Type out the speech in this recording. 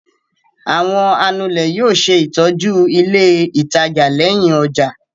Àwọn anulẹ̀ yóò ṣe ìtọ́jú ilé-ìtajà lẹ́yìn ọjà.